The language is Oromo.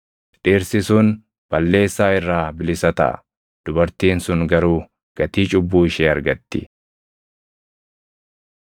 Dhirsi sun balleessaa irraa bilisa taʼa; dubartiin sun garuu gatii cubbuu ishee argatti.’ ”